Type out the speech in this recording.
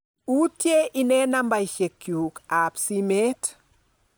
Utye inee nambeshek chuk ab simet